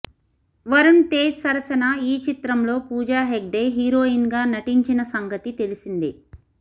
వరుణ్ తేజ్ సరసన ఈ చిత్రంలో పూజా హెగ్డే హీరోయిన్ గా నటించిన సంగతి తెలిసిందే